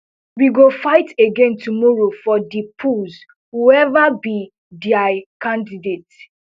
we go fight again tomorrow for di polls whoever be dia candidate